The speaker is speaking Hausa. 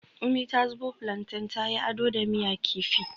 Umi ta zubo plantain ta yi ado da miya kifi